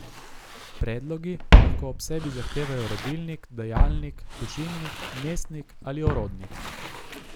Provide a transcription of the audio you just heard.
Predlogi lahko ob sebi zahtevajo rodilnik, dajalnik, tožilnik, mestnik ali orodnik.